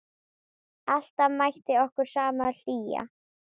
Alltaf mætti okkur sama hlýjan.